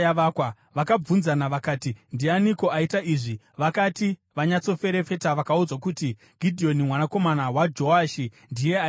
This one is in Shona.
Vakabvunzana vakati, “Ndianiko aita izvi?” Vakati vanyatsoferefeta, vakaudzwa kuti, “Gidheoni mwanakomana waJoashi ndiye aita izvi.”